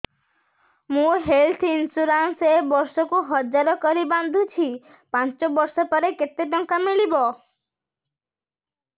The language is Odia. ମୁ ହେଲ୍ଥ ଇନ୍ସୁରାନ୍ସ ଏକ ବର୍ଷକୁ ହଜାର କରି ବାନ୍ଧୁଛି ପାଞ୍ଚ ବର୍ଷ ପରେ କେତେ ଟଙ୍କା ମିଳିବ